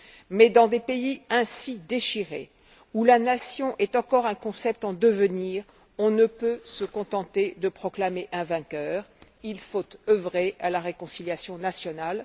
Mais dans des pays ainsi déchirés, où la nation est encore un concept en devenir, on ne peut se contenter de proclamer un vainqueur. Il faut œuvrer à la réconciliation nationale.